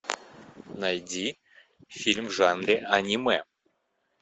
найди фильм в жанре аниме